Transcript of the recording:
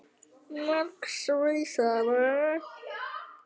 Margs vísari.